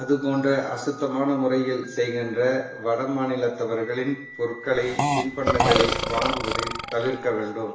அது போன்ற அசுத்தமான முறையில் செய்கின்ற வட மாநிலத்தவர்களின் பொருட்களை தின்பண்டங்களை வாங்குவது தவிர்க்க வேண்டும்